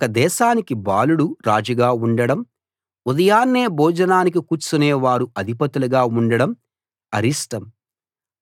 ఒక దేశానికి బాలుడు రాజుగా ఉండడం ఉదయాన్నే భోజనానికి కూర్చునే వారు అధిపతులుగా ఉండడం అరిష్టం